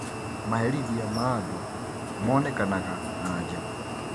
Maherithia ma andũ monekanaga na nja